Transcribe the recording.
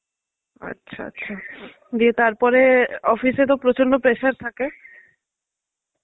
আচ্ছা আচ্ছা, গিয়ে তারপরে office এ তো প্রচন্ড pressure থাকে.